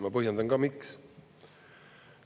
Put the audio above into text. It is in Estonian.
Ma põhjendan ka, miks.